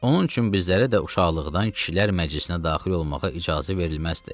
Onun üçün bizlərə də uşaqlıqdan kişilər məclisinə daxil olmağa icazə verilməzdi.